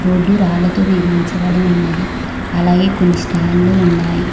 Road రాళ్లతో నిర్మించబడి ఉన్నది అలాగే కొన్ని స్టాండ్లు ఉన్నాయి.